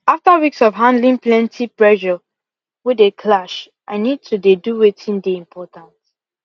after weeks of handling plenty pressure wey dey clash i need to dey do weitin dey important